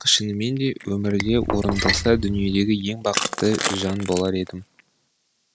шынымен де өмірде орындалса дүниедегі ең бақытты жан болар едім